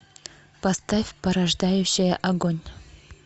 поставь порождающая огонь